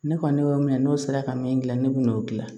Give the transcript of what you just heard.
Ne kɔni y'o min mɛn n'o sera ka min gilan ne b'o gilan